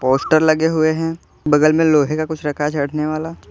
poster लगे हुए हैं बगल में लोहे का कुछ रखा है झड़ने वाला--